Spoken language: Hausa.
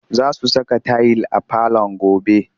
Za su saka tayil a falon gobe